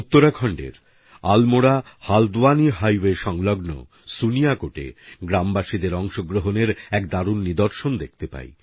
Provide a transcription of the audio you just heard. উত্তরাখণ্ডের আলমোড়া হালদ্বানি হাইওয়ে সংলগ্ন সুনিয়াকোটএ গ্রামবাসীদের অংশগ্রহণের এক দারুণ নিদর্শন দেখতে পাই